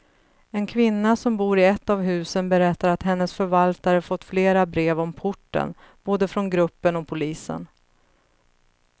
En kvinna som bor i ett av husen berättar att hennes förvaltare fått flera brev om porten, både från gruppen och polisen.